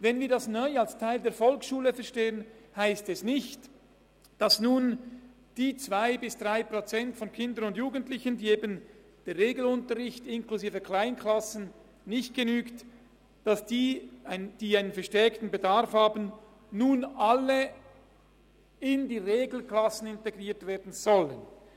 Wenn wir es neu als Teil der Volksschule verstehen, dann heisst dies nicht, dass nun die zwei bis drei Prozent der Kinder und Jugendlichen, denen Regelunterricht inklusive Kleinklassen nicht genügen und die einen verstärkten Bedarf haben, nun alle in die Regelklassen integriert werden sollen.